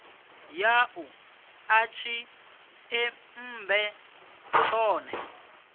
ya u ḓa tshiṱemmbe tshone